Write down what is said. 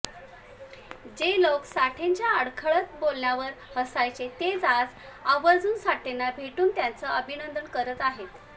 जे लोक साठेंच्या अडखळत बोलण्यावर हसायचे तेच आज आवर्जून साठेंना भेटून त्यांचं अभिनंदन करत आहेत